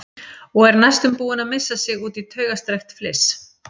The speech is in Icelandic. Og er næstum búin að missa sig út í taugastrekkt fliss.